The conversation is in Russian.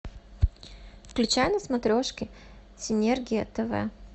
включай на смотрешке синергия тв